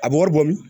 A bɛ wari bɔ min